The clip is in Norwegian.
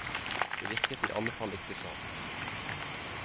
Det virket i alle fall ikke sånn.